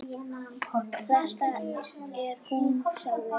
Þetta er hún sagði hann.